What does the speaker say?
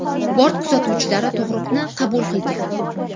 Bort kuzatuvchilari tug‘uruqni qabul qilgan.